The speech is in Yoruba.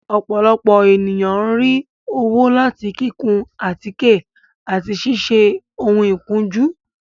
Ọ́pọlọpọ eniyan n ri owo lati kikun atike ati siṣe oun ikunju